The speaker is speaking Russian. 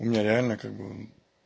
не реально как бы